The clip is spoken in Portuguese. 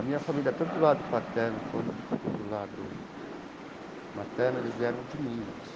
A minha família, tanto do lado paterno quanto do lado materno, eles vieram de Minas.